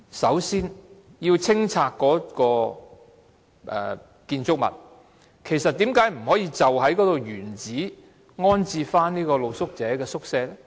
首先，要清拆該建築物，為何不能原址重置露宿者宿舍呢？